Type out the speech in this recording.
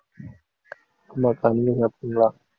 ஆமா அக்கா நீங்க சாப்பிட்டீங்களா